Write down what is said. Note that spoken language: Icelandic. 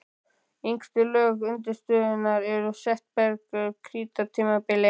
Yngstu lög undirstöðunnar eru setberg frá krítartímabilinu.